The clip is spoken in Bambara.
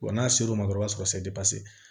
Wa n'a ser'o ma dɔrɔn o b'a sɔrɔ se